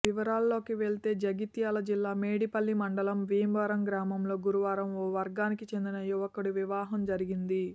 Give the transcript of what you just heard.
వివరాల్లోకి వెడితే జగిత్యాల జిల్లా మేడిపల్లి మండలం భీమరం గ్రామంలో గురువారం ఓ వర్గానికి చెందిన యువకుడి వివాహం జరిగింది